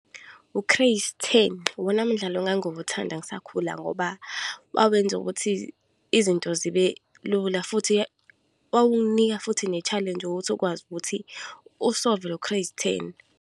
U-crazy ten, iwona mdlalo engangiwuthanda ngisakhula ngoba wawenze ukuthi izinto zibe lula. Futhi wawunginika futhi ne-challenge ukuthi ukwazi ukuthi u-solve-e lo crazy ten.